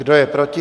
Kdo je proti?